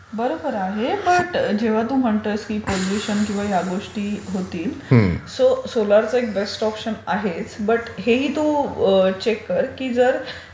बरोबर आहे पण जेव्हा तू म्हणतोस की पोल्युशन किंवा ह्या गोष्टी होतील सो सोलार चा एक बेस्ट ऑप्शन आहेच. बट हेही तू चेक कर की जर